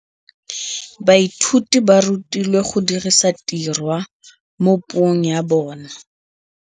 Baithuti ba rutilwe go dirisa tirwa mo puong ya bone.